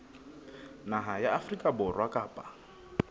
naha ya afrika borwa kapa